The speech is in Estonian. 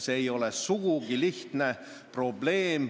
See ei ole sugugi lihtne.